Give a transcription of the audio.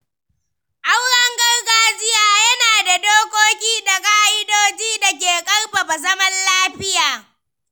Auren gargajiya yana da dokoki da ka’idojin da ke ƙarfafa zaman lafiya.